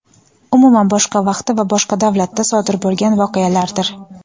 umuman boshqa vaqtda va boshqa davlatda sodir bo‘lgan voqealardir.